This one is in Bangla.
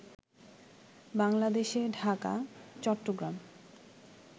বাংলাদেশে ঢাকা, চট্টগ্রাম